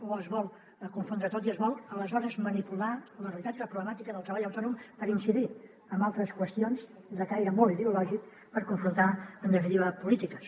o es vol confondre tot i es vol aleshores manipular la realitat i la problemàtica del treball autònom per incidir en altres qüestions de caire molt ideològic per confrontar en definitiva polítiques